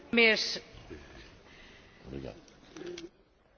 Käytitte aivan oikeaa sanaa humanitaarinen kriisi.